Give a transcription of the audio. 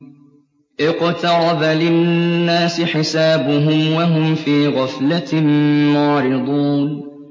اقْتَرَبَ لِلنَّاسِ حِسَابُهُمْ وَهُمْ فِي غَفْلَةٍ مُّعْرِضُونَ